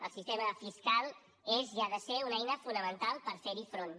el sistema fiscal és i ha de ser una eina fonamental per fer hi front